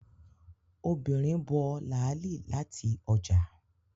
Obìnrin bough láàlì láti ọjà